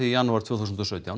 í janúar tvö þúsund og sautján